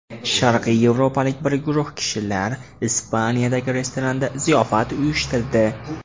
Sharqiy yevropalik bir guruh kishilar Ispaniyadagi restoranda ziyofat uyushtirdi.